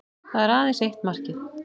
Það er aðeins eitt markið